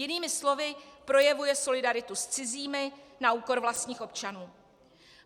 Jinými slovy - projevuje solidaritu s cizími na úkor vlastních občanů.